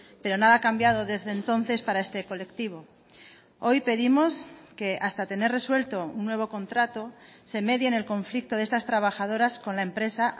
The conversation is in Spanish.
pero nada ha cambiado desde entonces para este colectivo hoy pedimos que hasta tener resuelto un nuevo contrato se medie en el conflicto de estas trabajadoras con la empresa